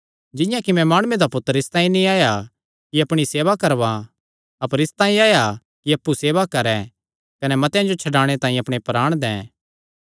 जिंआं कि मैं माणुये दा पुत्तर इसतांई नीं आया कि अपणी सेवा करवां अपर इसतांई आया कि अप्पु सेवा करैं कने मतेआं जो छड्डाणे तांई अपणे प्राण दैं